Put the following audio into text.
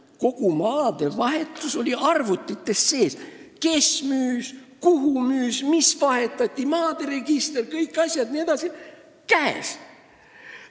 Kogu maadevahetuse info on arvutites: kes müüs, kuhu müüs, mida vahetati, maade register jne – käes!